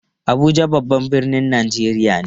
Abuja babban birnin Najeriya ne.